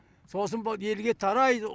сосын бұл елге тарайды